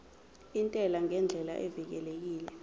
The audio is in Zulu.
intela ngendlela evikelekile